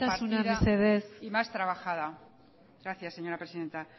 compartida y más trabajada isiltasuna mesedez gracias señora presidenta